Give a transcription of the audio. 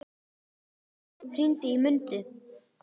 Blær, hringdu í Mundu.